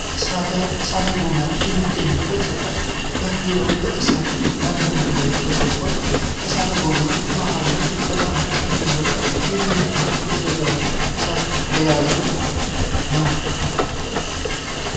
እሳተ ጎመራ በሚገኝበት ስፍራ ላይ ዙሪያውን በእሳት ያረረ ድንጋይ ከቦታል። እሳተ ጎመራው መሃሉ ላይ በጣም ቀይ የሆነ ሊፈነዳ የተዘጋጀ እሳትን የያዘ ነው።